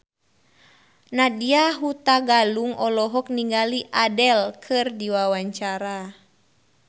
Nadya Hutagalung olohok ningali Adele keur diwawancara